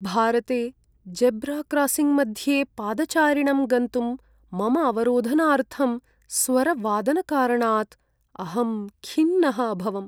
भारते जेब्राक्रासिङ्ग्मध्ये पादचारिणं गन्तुं मम अवरोधनार्थं स्वरवादनकारणात् अहं खिन्नः अभवम्।